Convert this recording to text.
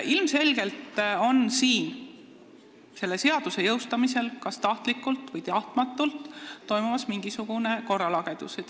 Ilmselgelt on selle seaduse jõustamisel – kas tahtlikult või tahtmatult – tekkinud mingisugune korralagedus.